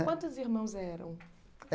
Quantos irmãos eram?